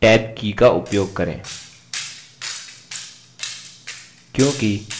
field type column पर जाने के लिए टैब की का उपयोग करें